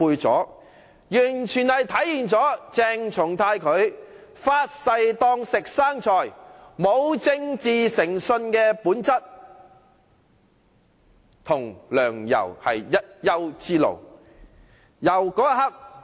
這完全體現鄭松泰"發誓當吃生菜"、沒有政治誠信的本質，與梁、游是一丘之貉。